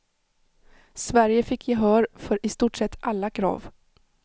Sverige fick gehör för i stort sett alla krav.